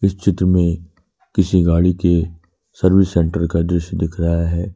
इस चित्र में किसी गाड़ी के सर्विस सेंटर का दृश्य दिख रहा है।